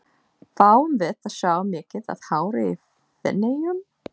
Fáum við að sjá mikið af hári í Feneyjum?